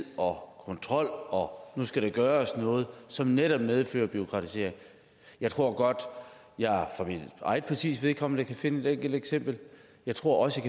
og kontrol og nu skal der gøres noget som netop medfører bureaukratisering jeg tror godt at jeg for mit eget partis vedkommende kan finde et enkelt eksempel jeg tror også at